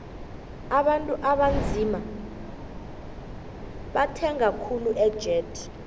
abantu abanzima bathenga khuli ejet